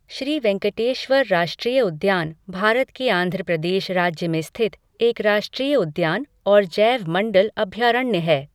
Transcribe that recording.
श्री वेंकटेश्वर राष्ट्रीय उद्यान भारत के आंध्र प्रदेश राज्य में स्थित एक राष्ट्रीय उद्यान और जैवमण्डल अभयारण्य है।